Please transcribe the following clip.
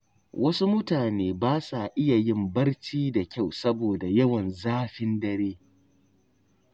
Wasu mutane ba sa iya yin barci da kyau saboda yawan zafin dare.